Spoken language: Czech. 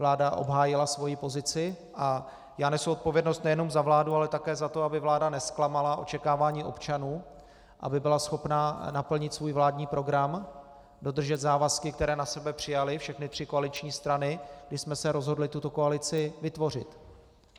Vláda obhájila svoji pozici a já nesu odpovědnost nejenom za vládu, ale také za to, aby vláda nezklamala očekávání občanů, aby byla schopna naplnit svůj vládní program, dodržet závazky, které na sebe přijaly všechny tři koaliční strany, když jsme se rozhodli tuto koalici vytvořit.